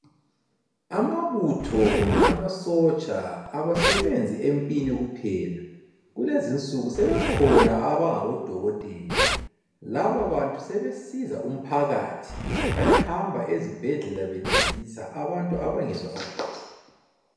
Amabutho kumbe amasotsha abasebenzi empini kuphela. Kulezinsuku sebekhona abangabodokotela. Laba bantu sebesiza umphakathi bayahamba ezibhedlela bencedisa abantu abangezwa kahle.